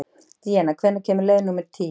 Díanna, hvenær kemur leið númer tíu?